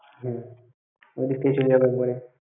হম ওই দিক থেকেই চলে যাব একবারে।